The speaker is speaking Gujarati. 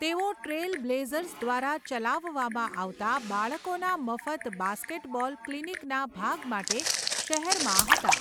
તેઓ ટ્રેલ બ્લેઝર્સ દ્વારા ચલાવવામાં આવતા બાળકોના મફત બાસ્કેટબોલ ક્લિનિકના ભાગ માટે શહેરમાં હતા.